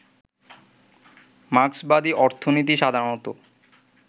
মার্ক্সবাদী অর্থনীতি সাধারণত